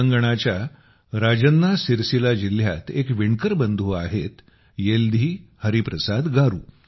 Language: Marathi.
तेलंगणाच्या राजन्ना सिर्सिल्ला जिल्ह्यात एक विणकर बंधू आहे येल्धी हरिप्रसाद गारू